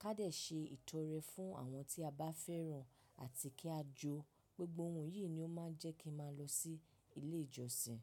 ká dẹ̀ ṣe ìtọ́rẹ fún àwọn tí a bá fẹ́ràn àti kí a jó. Gbigbo ohun yìí ni ó máa ń jẹ́ kí n máa lọ sí ilé ìjọsìn.